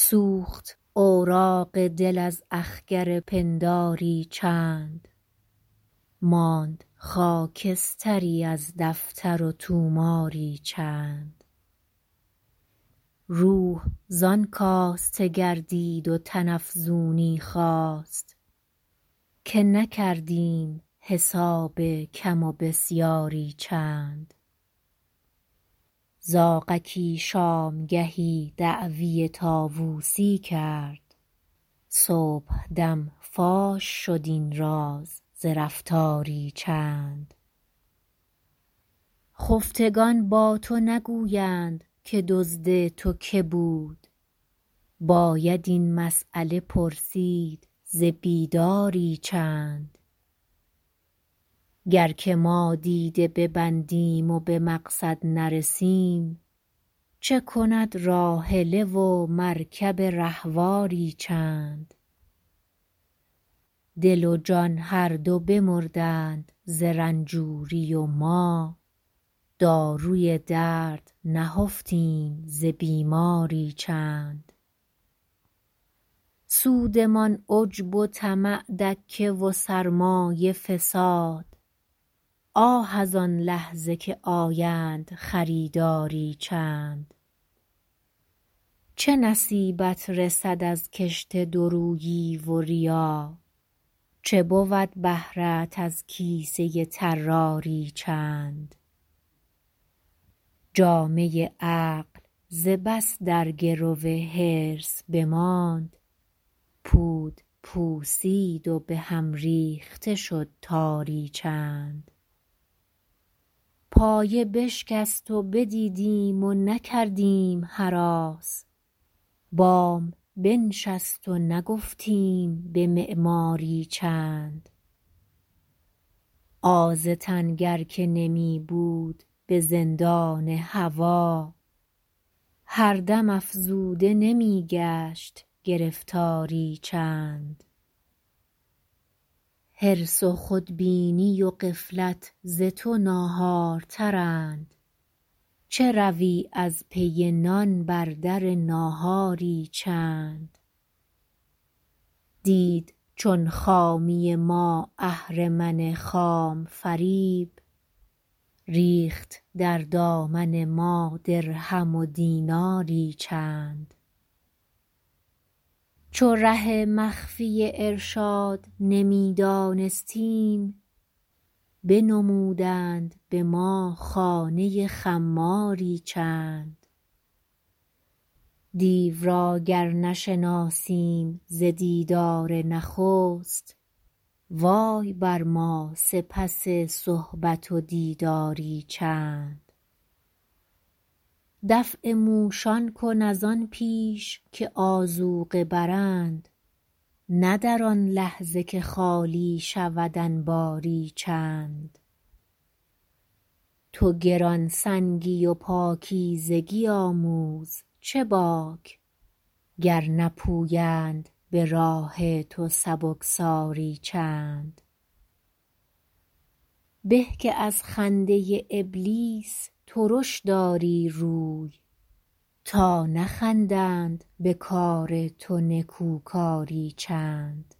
سوخت اوراق دل از اخگر پنداری چند ماند خاکستری از دفتر و طوماری چند روح زان کاسته گردید و تن افزونی خواست که نکردیم حساب کم و بسیاری چند زاغکی شامگهی دعوی طاوسی کرد صبحدم فاش شد این راز ز رفتاری چند خفتگان با تو نگویند که دزد تو که بود باید این مسیله پرسید ز بیداری چند گر که ما دیده ببندیم و بمقصد نرسیم چه کند راحله و مرکب رهواری چند دل و جان هر دو بمردند ز رنجوری و ما داروی درد نهفتیم ز بیماری چند سودمان عجب و طمع دکه و سرمایه فساد آه از آن لحظه که آیند خریداری چند چه نصیبت رسد از کشت دورویی و ریا چه بود بهره ات از کیسه طراری چند جامه عقل ز بس در گرو حرص بماند پود پوسید و بهم ریخته شد تاری چند پایه بشکست و بدیدیم و نکردیم هراس بام بنشست و نگفتیم بمعماری چند آز تن گر که نمیبود بزندان هوی هر دم افزوده نمیگشت گرفتاری چند حرص و خودبینی و غفلت ز تو ناهارترند چه روی از پی نان بر در ناهاری چند دید چون خامی ما اهرمن خام فریب ریخت در دامن ما درهم و دیناری چند چو ره مخفی ارشاد نمیدانستیم بنمودند بما خانه خماری چند دیو را گر نشناسیم ز دیدار نخست وای بر ما سپس صحبت و دیداری چند دفع موشان کن از آن پیش که آذوقه برند نه در آن لحظه که خالی شود انباری چند تو گرانسنگی و پاکیزگی آموز چه باک گر نپویند براه تو سبکساری چند به که از خنده ابلیس ترش داری روی تا نخندند بکار تو نکوکاری چند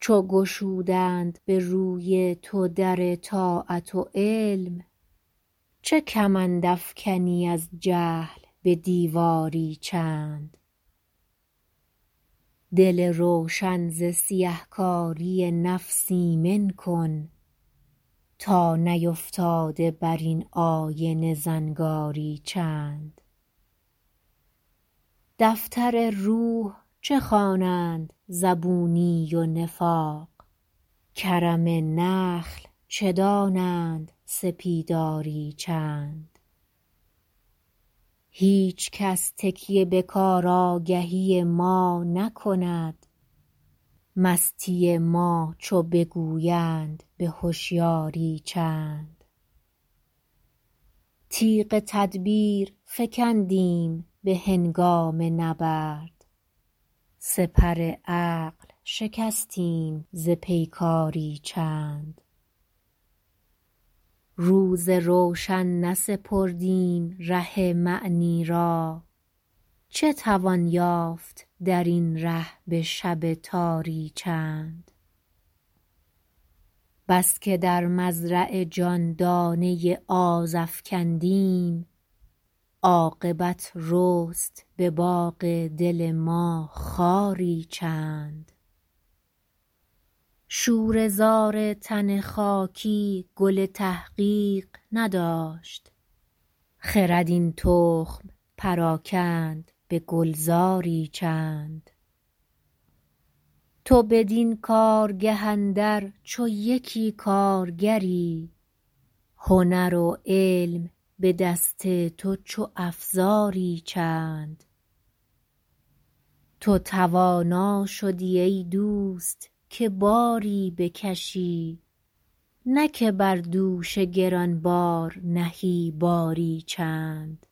چو گشودند بروی تو در طاعت و علم چه کمند افکنی از جهل به دیواری چند دل روشن ز سیه کاری نفس ایمن کن تا نیفتاده بر این آینه زنگاری چند دفتر روح چه خوانند زبونی و نفاق کرم نخل چه دانند سپیداری چند هیچکس تکیه به کار آگهی ما نکند مستی ما چو بگویند به هشیاری چند تیغ تدبیر فکندیم به هنگام نبرد سپر عقل شکستیم ز پیکاری چند روز روشن نسپردیم ره معنی را چه توان یافت در این ره بشب تاری چند بسکه در مزرع جان دانه آز افکندیم عاقبت رست بباغ دل ما خاری چند شوره زار تن خاکی گل تحقیق نداشت خرد این تخم پراکند به گلزاری چند تو بدین کارگه اندر چو یکی کارگری هنر و علم بدست تو چو افزاری چند تو توانا شدی ایدوست که باری بکشی نه که بر دوش گرانبار نهی باری چند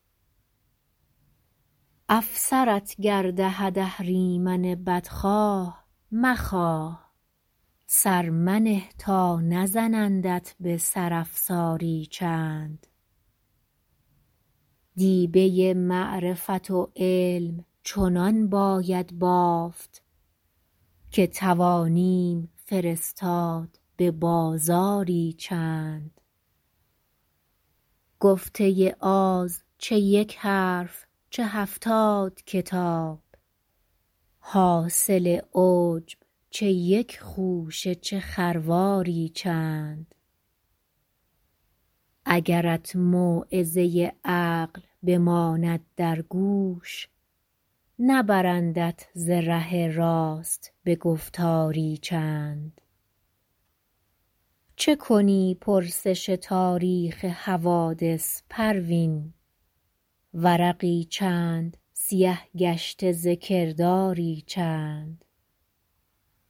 افسرت گر دهد اهریمن بدخواه مخواه سر منه تا نزنندت بسر افساری چند دیبه معرفت و علم چنان باید بافت که توانیم فرستاد ببازاری چند گفته آز چه یک حرف چه هفتاد کتاب حاصل عجب چه یک خوشه چه خرواری چند اگرت موعظه عقل بماند در گوش نبرندت ز ره راست بگفتاری چند چه کنی پرسش تاریخ حوادث پروین ورقی چند سیه گشته ز کرداری چند